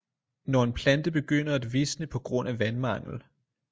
Når en plante begynder at visne på grund af vandmangel